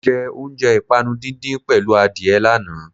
Mọ jẹ oúnjẹ ìpànu díndín pẹ̀lú adìẹ lánàá.